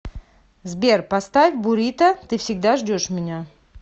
сбер поставь бурито ты всегда ждешь меня